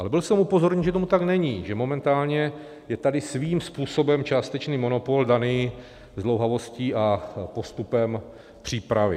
Ale byl jsem upozorněn, že tomu tak není, že momentálně je tady svým způsobem částečný monopol daný zdlouhavostí a postupem přípravy.